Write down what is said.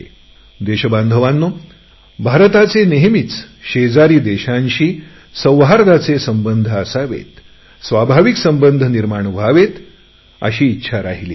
देशबांधवांनो भारताचे नेहमीच शेजारी देशांशी सौहार्दाचे संबंध असावेत अशी नेहमीच इच्छा राहिली आहे